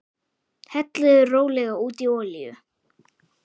Hellið rólega út í olíu.